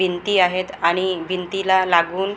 भिंती आहेत आणि भिंतीला लागून मोठ मो--